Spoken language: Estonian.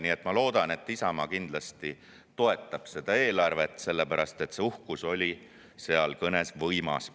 Nii et ma loodan, et Isamaa kindlasti toetab seda eelarvet, sest see uhkus oli seal kõnes võimas.